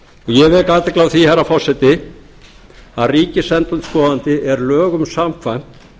ég vek athygli því herra forseti að ríkisendurskoðandi er lögum samkvæmt